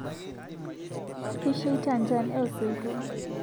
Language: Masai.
Kesheita njan eesoito